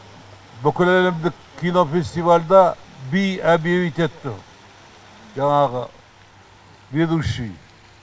бүкіләлемдік кинофестивальда би объявить етті жаңағы ведущий